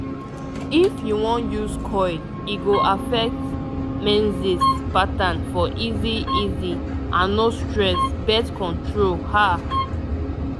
if u wan use coil e go affect menses pattern for easy easy and no stress birth control ah